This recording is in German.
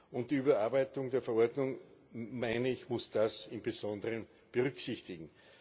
Und die Überarbeitung der Verordnung muss das im Besonderen berücksichtigen.